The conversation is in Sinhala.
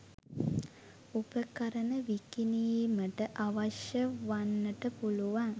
උපකරණ විකිණීමට අවශ්‍ය වන්නට පුළුවන්